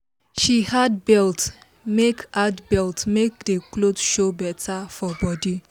she add belt make add belt make the cloth show better for body